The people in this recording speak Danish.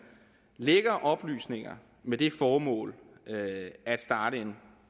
lækker oplysninger med det formål at starte en